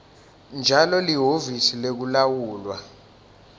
njalo lihhovisi lekulawulwa